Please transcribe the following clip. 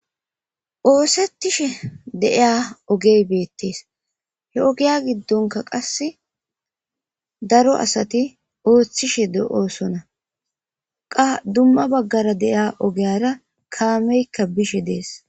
Oosettishe deiya ogey beettees he ogiya giddonka qasse daro asati ooththishe de'osona qa dumma baggara deiya ogiyara kaameykka bishe dees.